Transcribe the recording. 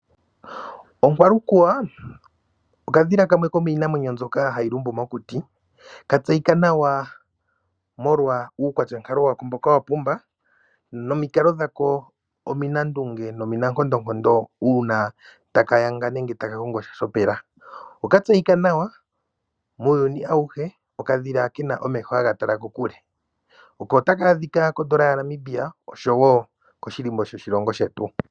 Onkwalukuwa okadhila kamwe komiinamwenyo mbyoka hayi lumbu mokuti katseyika nawa molwa uukwatyankalo mboka wa pumba nomikalo dhako ominandunge nominankondonkondo uuna taka yanga nenge ta ka kongo sha shopela. Okatseyika nawa muuyuni awuhe okadhila ke na omeho haga tala kokule. Oko taka adhika kondola yaNamibia osho wo koshilimbo shoshilongo shetu.